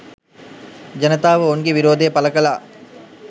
ජනතාව ඔවුන්ගේ විරෝධය පළ කළා